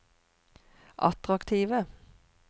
attraktive